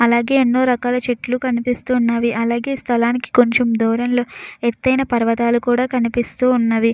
అలాగే ఎన్నో రకాల చెట్లు కనిపిస్తున్నవి. అలాగే స్థలానికి కొంచెం దూరంలో ఎత్తైన పర్వతాలు కూడా కనిపిస్తూ ఉన్నవి.